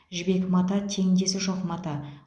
жібек мата теңдесі жоқ мата